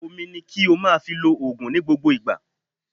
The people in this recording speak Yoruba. omí ní kí o máà fí ló òògùn ní gbógbó ìgbà.